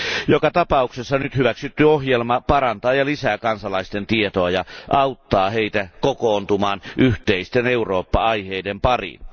Joka tapauksessa nyt hyväksytty ohjelma parantaa ja lisää kansalaisten tietoa ja auttaa heitä kokoontumaan yhteisten Eurooppa aiheiden pariin.